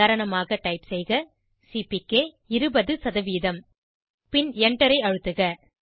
உதாரணமாக டைப் செய்க சிபிகே 20 பின் Enter ஐ அழுத்துக